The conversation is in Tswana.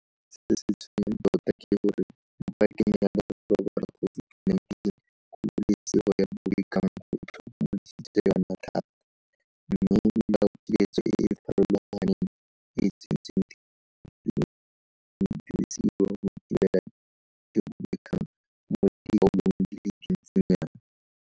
Se se tshwenyang tota ke gore mo pakeng ya leroborobo la COVID-19 kgololesego ya bobegakgang go itlhokomolositswe yona thata, mme melaokiletso e e farologaneng e e tsentsweng tirisong e ntse e dirisiwa go thibela tiro ya bobegakgang mo dikgaolong di le dintsi nyana.